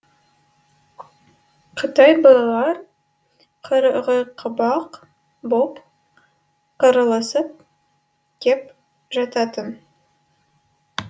қытай балалар қырғиқабақ боп қырылысып кеп жататын